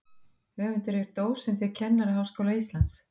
Höfundur er dósent við Kennaraháskóla Íslands.